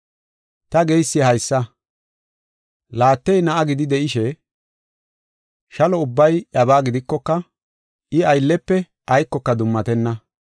Ta geysi haysa. Laattey na7aa gidi de7ishe, shalo ubbay iyabaa gidikoka, I ayllefe aykoka dummatenna.